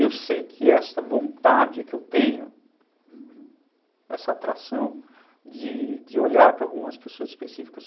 Eu sei que essa vontade que eu tenho, uhum, essa atração de olhar para algumas pessoas específicas,